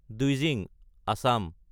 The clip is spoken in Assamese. দ্বিজিং (আছাম)